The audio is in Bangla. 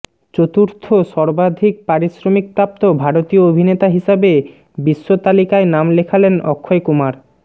চতুর্থ সর্বাধিক পারিশ্রমিকপ্রাপ্ত ভারতীয় অভিনেতা হিসাবে বিশ্ব তালিকায় নাম লেখালেন অক্ষয় কুমার